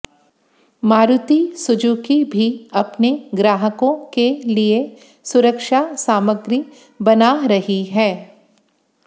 Maruti Suzuki भी अपने ग्राहकों के लिए सुरक्षा सामग्री बना रही है